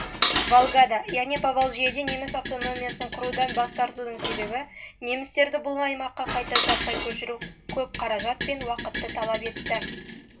волгада яғни поволжьеде неміс автономиясын құрудан бас тартудың себебі немістерді бұл аймаққа қайта жаппай көшіру көп қаражат пен